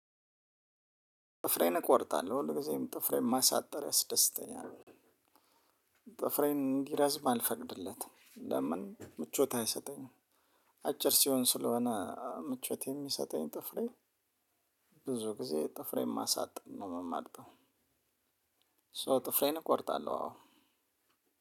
ጥፍሬን እቆርጣለሁ ሁል ጊዜም ጥፍሬን ማሳጠር ያስደስተኛልያስደስተኛል። ጥፍሬን እንዲረዝም አልፈቅድለትም ለምን ምቾት አይሰጠኝም። አጭር ሲሆን ስለሆነ ምቾት የሚሰጠኝ ጥፍሬ ብዙ ጊዜ ጥፍሬን ማሳጠር ነው የምመርጠው ሶ ጥፍሬን እቆርጣለሁ። አዎ፣